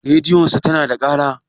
Rediyon sa tana da ƙara?